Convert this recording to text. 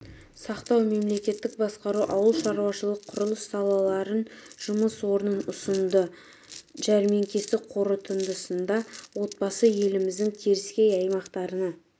сақтау мемлекеттік басқару ауылшаруашылық құрылыс салаларынан жұмыс орнын ұсынды жәрмеңке қорытындысында отбасы еліміздің теріскей аймақтарына